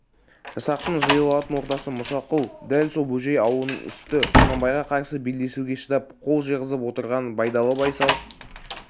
жасақтың жиылатын ортасы мұсақұл дәл сол бөжей аулының үсті құнанбайға қарсы белдесуге шыдап қол жиғызып отырған байдалы байсал